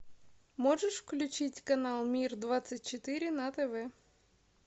можешь включить канал мир двадцать четыре на тв